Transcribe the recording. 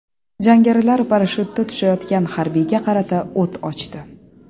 Jangarilar parashyutda tushayotgan harbiyga qarata o‘t ochdi.